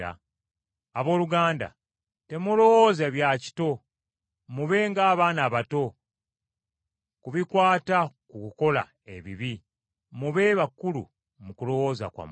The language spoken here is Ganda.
Abooluganda, temulowooza bya kito. Mube ng’abaana abato ku bikwata ku kukola ebibi, mube bakulu mu kulowooza kwammwe.